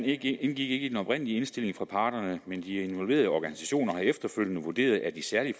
ikke i den oprindelige indstilling fra parterne men de involverede organisationer har efterfølgende vurderet de særlige